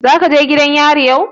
Zaka je gidan yarin yau?